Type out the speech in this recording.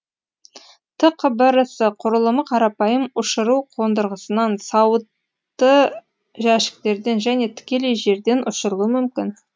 тқбрс құрылымы қарапайым ұшыру қондырғысынан сауытты жәшіктерден және тікелей жерден ұшырылуы мүмкін